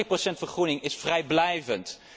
De dertig procent vergroening is vrijblijvend!